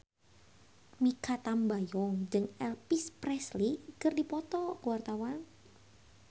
Mikha Tambayong jeung Elvis Presley keur dipoto ku wartawan